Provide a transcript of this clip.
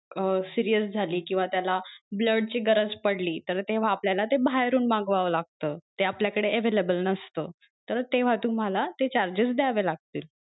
अं serious झाली किंवा त्याला blood ची गरज पडली तर तेव्हा ते आपल्याला ते बाहेरून मागवावं लागत ते आपल्या कड available नसत तर तेव्हा तुम्हाला ते charges द्यावे लागतील.